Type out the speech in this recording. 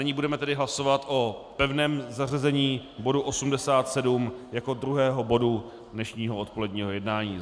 Nyní budeme tedy hlasovat o pevném zařazení bodu 87 jako druhého bodu dnešního odpoledního jednání.